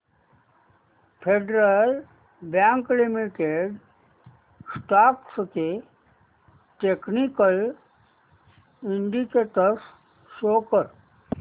federal Bank Limited stocks चे technical indicators show कर